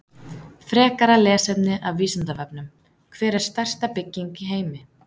Frekara lesefni af Vísindavefnum: Hver er stærsta bygging í heimi?